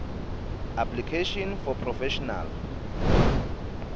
application for professional